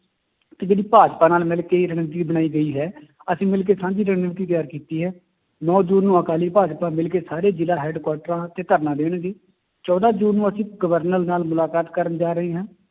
ਤੇ ਜਿਹੜੀ ਭਾਜਪਾ ਨਾਲ ਮਿਲਕੇ ਇਹ ਬਣਾਈ ਗਈ ਹੈ ਅਸੀਂ ਮਿਲ ਕੇ ਸਾਂਝੀ ਰਣਨੀਤੀ ਤਿਆਰ ਕੀਤੀ ਹੈ, ਨੋਂ ਜੂਨ ਨੂੰ ਅਕਾਲੀ ਭਾਜਪਾ ਮਿਲਕੇ ਸਾਰੇ ਜ਼ਿਲ੍ਹਾ ਹੈਡਕੁਆਟਰਾਂ ਤੇ ਧਰਨਾ ਦੇਣਗੇ ਚੌਦਾਂ ਜੂਨ ਨੂੰ ਅਸੀਂ governor ਨਾਲ ਮੁਲਾਕਾਤ ਕਰਨ ਜਾ ਰਹੇ ਹਾਂ